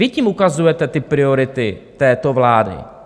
Vy tím ukazujete ty priority této vlády.